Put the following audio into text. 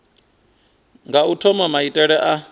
nga u thoma maitele a